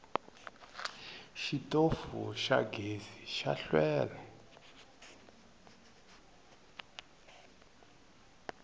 xitofu xa gezi xa hlwela